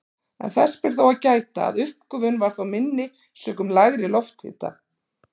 En þess ber þó að gæta að uppgufun var þá minni sökum lægri lofthita.